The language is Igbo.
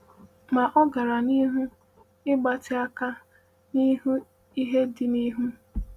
Ma o gara n’ihu “ịgbatị aka n’ihu ihe dị n’ihu.”